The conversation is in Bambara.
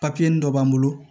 Papiye dɔ b'an bolo